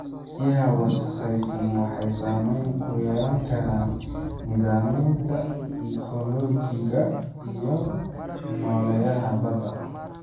Biyaha wasakhaysan waxay saameyn ku yeelan karaan nidaamyada ekoolojiga iyo nooleyaasha badda.